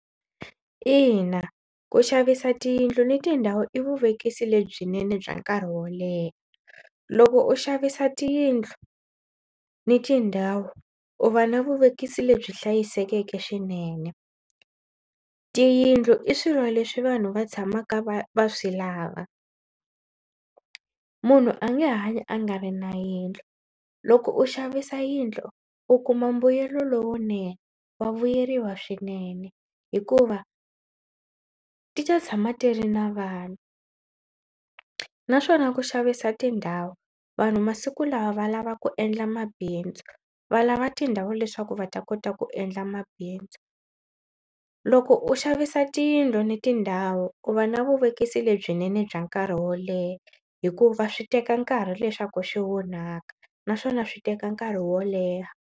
Ina ku xavisa tiyindlu ni tindhawu i vuvekisi lebyinene bya nkarhi wo leha. Loko u xavisa tiyindlu ni tindhawu u va na vuvekisi lebyi hlayisekeke swinene. Tiyindlu i swilo leswi vanhu va tshamaka va va swi lava. Munhu a nge hanyi a nga ri na yindlu. Loko u xavisa yindlu u kuma mbuyelo lowunene wa vuyeriwa swinene hikuva ti ta tshama ti ri na vanhu naswona ku xavisa tindhawu vanhu masiku lawa va lava ku endla mabindzu va lava tindhawu leswaku va ta kota ku endla mabindzu. Loko u xavisa tiyindlu na tindhawu u va na vuvekisi lebyinene bya nkarhi wo leha hikuva swi teka nkarhi leswaku xi onhaka naswona swi teka nkarhi wo leha.